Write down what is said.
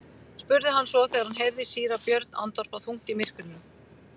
spurði hann svo þegar hann heyrði síra Björn andvarpa þungt í myrkrinu.